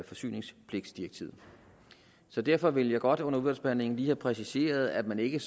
forsyningspligtdirektivet så derfor vil jeg godt under udvalgsbehandlingen lige have præciseret at man ikke